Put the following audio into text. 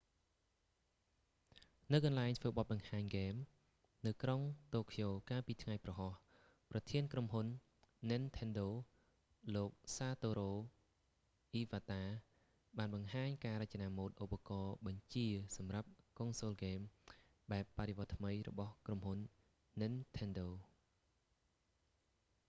នៅកន្លែងធ្វើបទបង្ហាញហ្គេមនៅក្រុងតូក្យូកាលពីថ្ងៃព្រហស្បតិ៍ ប្រធានក្រុមហ៊ុន nintendo និនថិនដូ លោក satoru iwata សាតូរូ អ៊ីវ៉ាតា បានបង្ហាញការរចនាម៉ូដឧបករណ៍បញ្ជាសម្រាប់កុងសូលហ្គេមបែបបដិវត្តថ្មីរបស់ក្រុមហ៊ុន nintendo